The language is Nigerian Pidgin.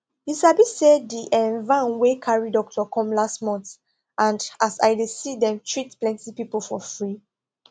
you sabi say di um van wey carry doctor come last month and as i dey see dem treat plenty people for free